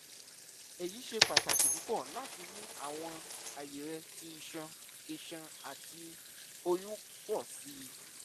eyi ṣe pataki pupọ lati mu awọn aye rẹ ti iṣan iṣan ati oyun pọ si